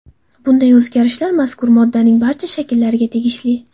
Bunday o‘zgarishlar mazkur moddaning barcha shakllariga tegishli.